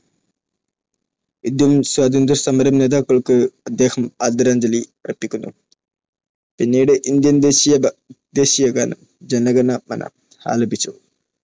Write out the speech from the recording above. Indian സ്വാതന്ത്ര്യസമര നേതാക്കൾക്ക് അദ്ദേഹം ആദരാഞ്ജലി അർപ്പിക്കുന്നു. പിന്നീട് ഇന്ത്യൻ ദേശീയഗാനം ജന ഗണ മന ആലപിച്ചു.